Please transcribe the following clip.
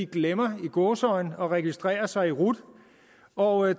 glemmer i gåseøjne at registrere sig i rut og